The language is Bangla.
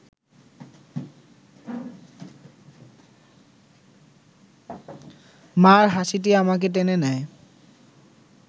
মা’র হাসিটি আমাকে টেনে নেয়